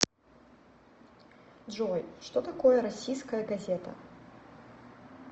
джой что такое российская газета